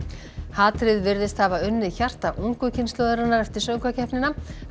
hatrið virðist hafa unnið hjarta ungu kynslóðarinnar eftir söngvakeppnina